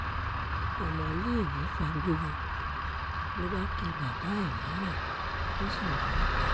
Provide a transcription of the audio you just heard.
ọmọléèwé fàgbò yọ ló bá ki bàbá ẹ̀ mọ́lẹ̀ ó sì lù ú pa